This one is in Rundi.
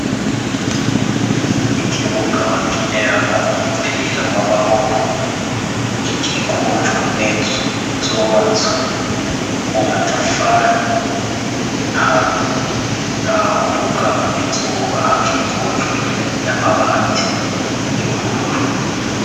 Ikibugaba kineramo umupira w'amaboko y'ikikujwe n'inzu zobatswe mu matafari hamwe, naho bugama izubahakikujwe n'amabati y'ubururu.